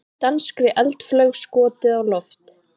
Danskri eldflaug skotið á loft